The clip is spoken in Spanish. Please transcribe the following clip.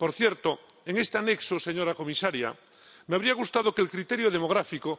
Por cierto, en este anexo, señora comisaria, me habría gustado que el criterio demográfico